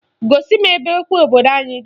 Gosi m ebe ekwe obodo anyị di